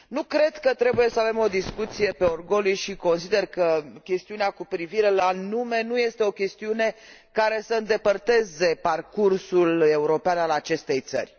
Nu cred că trebuie să avem o discuție pe orgolii și consider că chestiunea cu privire la nume nu este o chestiune care să îndepărteze parcursul european al acestei țări.